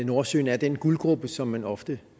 nordsøen er den guldgrube som man ofte